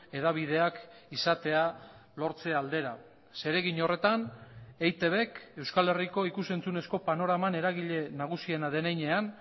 hedabideak izatea lortze aldera zeregin horretan eitbk euskal herriko ikus entzunezko panoraman eragile nagusiena den heinean